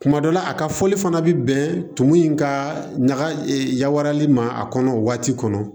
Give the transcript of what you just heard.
Kuma dɔ la a ka fɔli fana bɛ bɛn tumu in ka ɲaga yawali ma a kɔnɔ o waati kɔnɔ